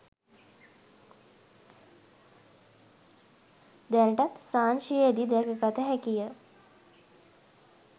දැනටත් සාංචියේදී දැකගත හැකිය.